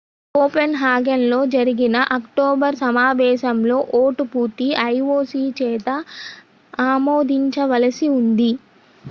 కోపెన్హాగన్లో జరిగిన అక్టోబర్ సమావేశంలో ఓటు పూర్తి ioc చేత ఆమోదించవలసి ఉంది